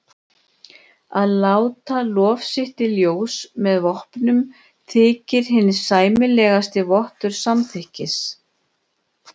Að láta lof sitt í ljós með vopnum þykir hinn sæmilegasti vottur samþykkis.